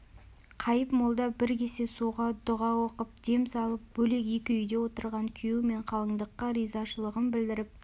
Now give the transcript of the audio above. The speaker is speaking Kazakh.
қайып молда бір кесе суға дүға оқып дем салып бөлек екі үйде отырған күйеу мен қалыңдыққа ризашылығын білдіріп